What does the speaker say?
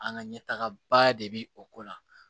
An ka ɲɛtagaba de bɛ o ko la